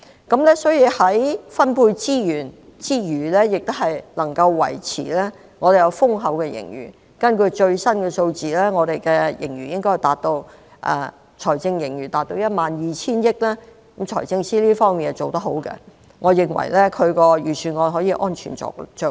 政府在分配資源之餘，亦能維持豐厚的盈餘，根據最新數字，本港的財政盈餘達 12,000 億元，財政司司長在這方面做得好，我認為他的預算案可以安全着陸。